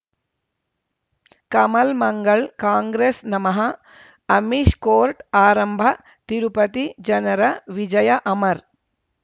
ಕಮಲ್ ಮಂಗಳ್ ಕಾಂಗ್ರೆಸ್ ನಮಃ ಅಮಿಷ್ ಕೋರ್ಟ್ ಆರಂಭ ತಿರುಪತಿ ಜನರ ವಿಜಯ ಅಮರ್